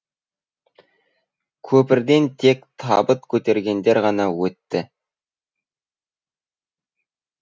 көпірден тек табыт көтергендер ғана өтті